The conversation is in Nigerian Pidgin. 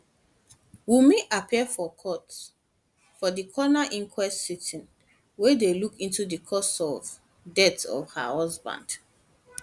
wunmi appear for court for di coroner inquest inquest sitting wey dey look into di cause of death of her husband